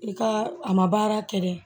I ka a ma baara kɛ dɛ